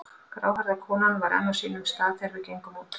Gráhærða konan var enn á sínum stað þegar við gengum út.